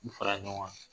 U fara ɲɔgɔn kan